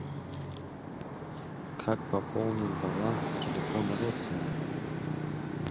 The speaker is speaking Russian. как пополнить баланс телефона родственника